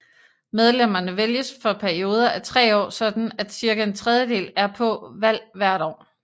Medlemmerne vælges for perioder af tre år sådan at cirka en tredjedel er på valg hvert år